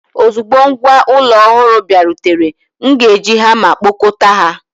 Ozugbo ngwá ụlọ ọhụrụ bịarutere, m ga-eji hama kpọkọta ha.